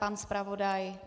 Pan zpravodaj?